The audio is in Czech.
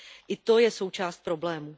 I to je součást problému.